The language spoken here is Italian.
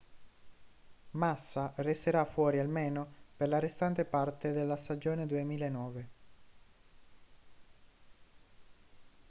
massa resterà fuori almeno per la restante parte della stagione 2009